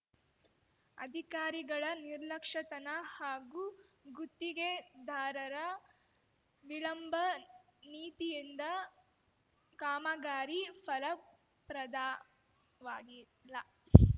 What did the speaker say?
ಅಧಿಕಾರಿಗಳ ನಿರ್ಲಕ್ಷ್ಯತನ ಹಾಗೂ ಗುತ್ತಿಗೆದಾರರ ವಿಳಂಬ ನೀತಿಯಿಂದ ಕಾಮಗಾರಿ ಫಲಪ್ರದವಾಗಿಲ್ಲ